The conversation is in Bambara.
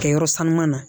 Kɛ yɔrɔ sanuman na